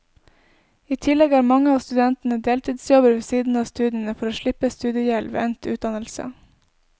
I tillegg har mange av studentene deltidsjobber ved siden av studiene for å slippe studiegjeld ved endt utdannelse.